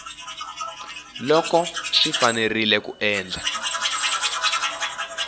loko swi fanerile ku endla